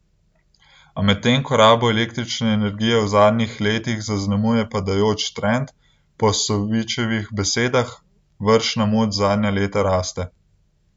A medtem ko rabo električne energije v zadnjih letih zaznamuje padajoč trend, po Sovičevih besedah vršna moč zadnja leta raste.